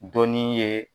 Dɔnni ye